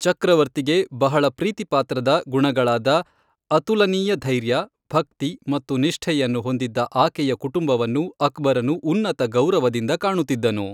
ಚಕ್ರವರ್ತಿಗೆ ಬಹಳ ಪ್ರೀತಿಪಾತ್ರದ ಗುಣಗಳಾದ ಅತುಲನೀಯ ಧೈರ್ಯ, ಭಕ್ತಿ ಮತ್ತು ನಿಷ್ಠೆಯನ್ನು ಹೊಂದಿದ್ದ ಆಕೆಯ ಕುಟುಂಬವನ್ನು ಅಕ್ಬರನು ಉನ್ನತ ಗೌರವದಿಂದ ಕಾಣುತ್ತಿದ್ದನು.